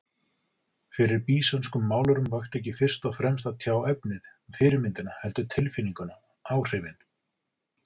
Fyrir býsönskum málurum vakti ekki fyrst og fremst að tjá efnið, fyrirmyndina, heldur tilfinninguna, áhrifin.